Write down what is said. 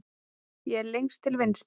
Ég er lengst til vinstri.